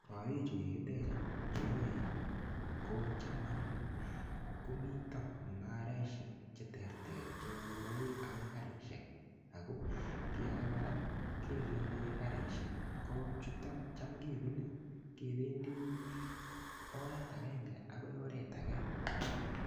Korik chu kikitech anyun chu oen kocham anyun komito mungarisiek cheterter chebo ngoroik agoi karisiek. Kiy age kora kegere, karisiek ko chuta checham kebune kependi oret agenge agoi oret age.